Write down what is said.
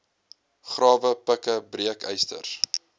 grawe pikke breekysters